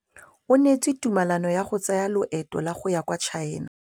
O neetswe tumalanô ya go tsaya loetô la go ya kwa China.